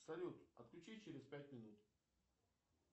салют отключить через пять минут